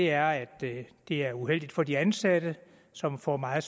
er at det er uheldigt for de ansatte som får meget